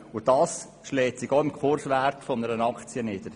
Dies schlägt sich auch im Kurswert einer Aktie nieder.